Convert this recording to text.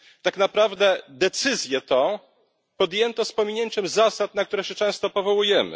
Tak naprawdę decyzję tę podjęto z pominięciem zasad, na które się często powołujemy.